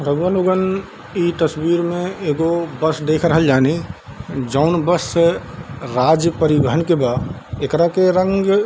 रउवा लोगन इ तस्वीर में एगो बस देख रहल जानी जौन बस से राज्य परिवहन के बा एकरा के रंग --